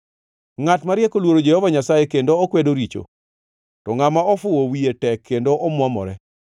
Ngʼat mariek oluoro Jehova Nyasaye kendo okwedo richo, to ngʼama ofuwo wiye tek kendo omuomore.